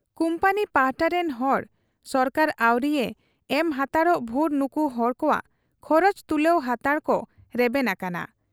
Company ᱯᱟᱦᱴᱟ ᱨᱤᱱ ᱦᱚᱲ ᱥᱚᱨᱠᱟᱨ ᱟᱹᱣᱨᱤᱭᱮ ᱮᱢ ᱦᱟᱱᱛᱟᱲᱚᱜ ᱵᱷᱩᱨ ᱱᱩᱠᱩ ᱦᱚᱲ ᱠᱚᱣᱟᱜ ᱠᱷᱚᱨᱚᱪ ᱛᱩᱞᱟᱹᱣ ᱦᱟᱱᱛᱟᱲ ᱠᱚ ᱨᱮᱵᱮᱱ ᱟᱠᱟᱱᱟ ᱾